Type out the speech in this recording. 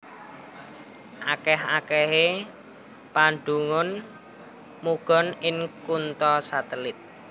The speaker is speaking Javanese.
Akèh akèhé padunung manggon ing kutha satelit